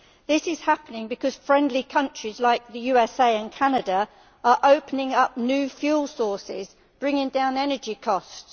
This is happening because friendly countries like the USA and Canada are opening up new fuel sources bringing down energy costs.